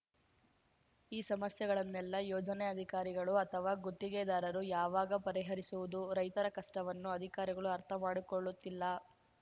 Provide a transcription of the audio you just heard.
ಈ ಸಮಸ್ಯೆಗಳನ್ನೆಲ್ಲ ಯೋಜನೆ ಅಧಿಕಾರಿಗಳು ಅಥವಾ ಗುತ್ತಿಗೆದಾರರು ಯಾವಾಗ ಪರಿಹರಿಸುವುದು ರೈತರ ಕಷ್ಟವನ್ನು ಅಧಿಕಾರಿಗಳು ಅರ್ಥ ಮಾಡಿಕೊಳ್ಳುತ್ತಿಲ್ಲ